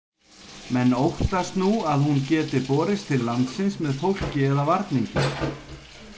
Menn óttast nú að hún geti borist til landsins með fólki eða varningi.